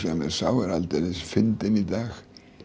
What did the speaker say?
mér sá er aldeilis fyndinn í dag